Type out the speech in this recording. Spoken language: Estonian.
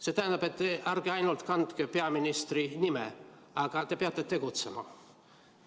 See tähendab, et ärge ainult kandke peaministri nime, vaid tegutsege.